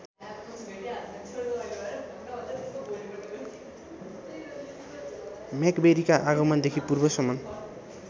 मैक्वेरीका आगमनदेखि पूर्वसम्म